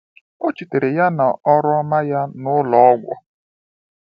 O chetara ya na ọrụ ọma ya n'ụlọ ọgwụ.